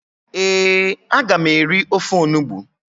ee, a ga m eri ofe onugbu